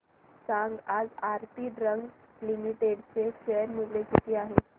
सांगा आज Aarti drugs limited चे शेअर मूल्य किती आहे